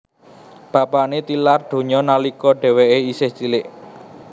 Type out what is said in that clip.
Bapané tilar donya nalika dhèwèké isih cilik